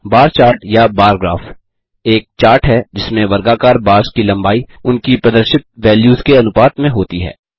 बार chart या bar graph एक chart है जिसमें वर्गाकार बार्स की लम्बाई उनकी प्रदर्शित वैल्यूज़ के अनुपात में होती है